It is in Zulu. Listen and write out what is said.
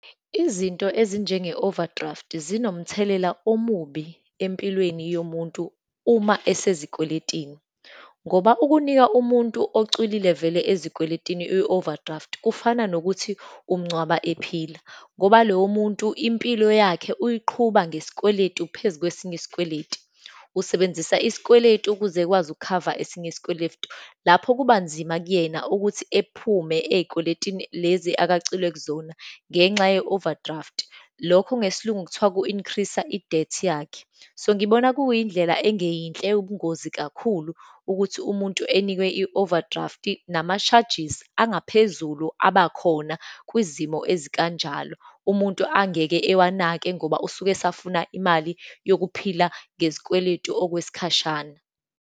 Izinto ezinjenge-overdraft zinomthelela omubi empilweni yomuntu uma esezikweletini, ngoba ukunika umuntu ocwilile vele ezikweletini i-overdraft, kufana nokuthi umngcwaba ephila. Ngoba lowo muntu impilo yakhe uyiqhuba ngesikweletu, phezu kwesinye isikweletu, usebenzisa isikweletu ukuze ukwazi ukukhava esinye isikweletu. Lapho kuba nzima kuyena ukuthi ephume eyikweletini lezi akacwile kuzona ngenxa ye-overdraft. Lokhu ngesiLungu kuthiwa ku-increaser i-debt yakhe. So ngibona kuyindlela engeyinhle, ubungozi kakhulu ukuthi umuntu enikwe i-overdraft, nama-charges angaphezulu abakhona kwizimo ezikanjalo, umuntu angeke awanake ngoba usuke esafuna imali yokuphila ngezikweletu okwesikhashana.